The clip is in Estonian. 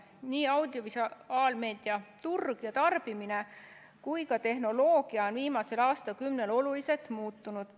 Nii audiovisuaalmeedia turg ja tarbimine kui ka tehnoloogia on viimasel aastakümnel oluliselt muutunud.